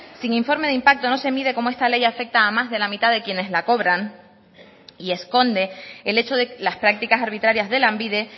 sin informe de impacto no se mide cómo esta ley afecta a más de la mitad de quienes la cobran y esconde el hecho de las prácticas arbitrarias de lanbide